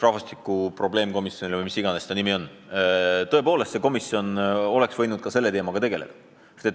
Rahvastikukriisi probleemkomisjon või mis iganes ta nimi on oleks võinud tõepoolest ka selle teemaga tegeleda.